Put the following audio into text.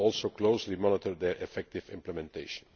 It will also closely monitor their effective implementation.